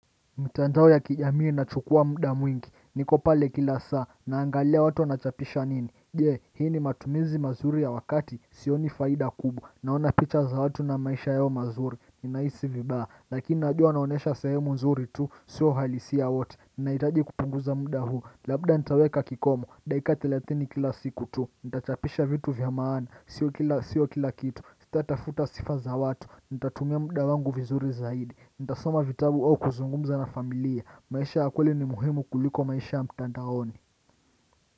Mtandao ya kijamii inachukua muda mwingi. Niko pale kila saa. Naangalia watu wanachapisha nini. Je, hii ni matumizi mazuri ya wakati? Sioni faida kubwa. Naona picha za watu na maisha yao mazuri, ninahisi vibaya. Lakini najua wanaonyesha sehemu nzuri tu, sio uhalisia wote. Ninahitaji kupunguza muda huu. Labda nitaweka kikomo. Dakika thelathini kila siku tu. Nitachapisha vitu vya maana. Sio kila kitu. Sitatafuta sifa za watu. Nitatumia muda wangu vizuri zaidi. Nitasoma vitabu au kuzungumza na familia. Maisha ya kweli ni muhimu kuliko maisha ya mtandaoni.